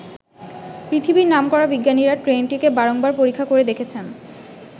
পৃথিবীর নামকরা বিজ্ঞানীরা ট্রেনটিকে বারংবার পরীক্ষা করে দেখেছেন।